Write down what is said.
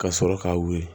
Ka sɔrɔ k'a wuli